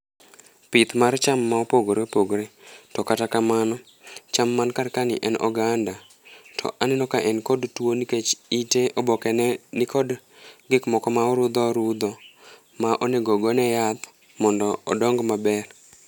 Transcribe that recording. Pith mar cham mopogore opogore to kata kamano cham man kar ka ni oganda ,to aneno ka en gi tuo nikech ite oboke ne ni kod gik moko ma orudho orudho ma onego ogone yath mondo odong' maber